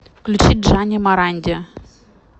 включи джани моранди